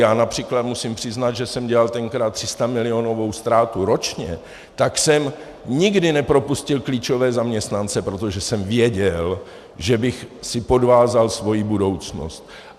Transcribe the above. Já například musím přiznat, že jsem dělal tenkrát 300milionovou ztrátu ročně, tak jsem nikdy nepropustil klíčové zaměstnance, protože jsem věděl, že bych si podvázal svoji budoucnost.